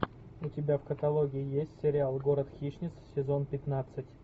у тебя в каталоге есть сериал город хищниц сезон пятнадцать